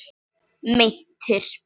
Meintir